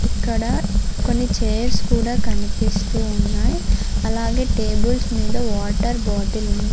ఇక్కడ కొన్ని చైర్స్ కూడా కనిపిస్తూ ఉన్నాయి అలాగే టేబుల్స్ మీద వాటర్ బాటిల్ ఉన్--